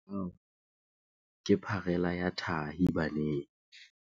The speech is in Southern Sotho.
Mathata ao ke pharela ya tahi baneng.